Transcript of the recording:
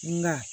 Na